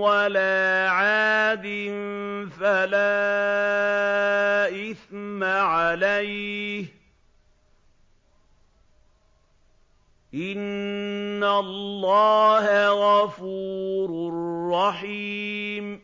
وَلَا عَادٍ فَلَا إِثْمَ عَلَيْهِ ۚ إِنَّ اللَّهَ غَفُورٌ رَّحِيمٌ